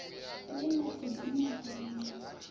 vhi na u dzimelwa mu